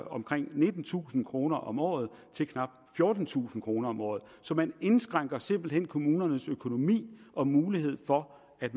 omkring nittentusind kroner om året til knap fjortentusind kroner om året så man indskrænker simpelt hen kommunernes økonomi og mulighed for at